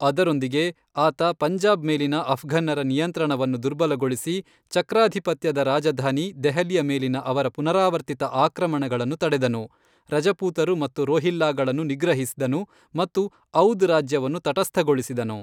ಅದರೊಂದಿಗೆ, ಆತ ಪಂಜಾಬ್ ಮೇಲಿನ ಅಫ್ಘನ್ನರ ನಿಯಂತ್ರಣವನ್ನು ದುರ್ಬಲಗೊಳಿಸಿ, ಚಕ್ರಾಧಿಪತ್ಯದ ರಾಜಧಾನಿ ದೆಹಲಿಯ ಮೇಲಿನ ಅವರ ಪುನರಾವರ್ತಿತ ಆಕ್ರಮಣಗಳನ್ನು ತಡೆದನು, ರಜಪೂತರು ಮತ್ತು ರೋಹಿಲ್ಲಾಗಳನ್ನು ನಿಗ್ರಹಿಸಿದನು ಮತ್ತು ಔದ್ ರಾಜ್ಯವನ್ನು ತಟಸ್ಥಗೊಳಿಸಿದನು.